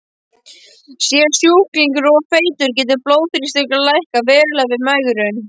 Sé sjúklingur of feitur getur blóðþrýstingurinn lækkað verulega við megrun.